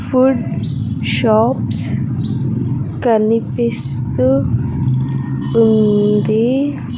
Food shops కనిపిస్తూ ఉంది.